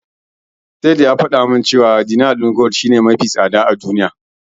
Saif ya faɗa min cewa Dinar din Kuwait shine kudi mafi tsada a duniya.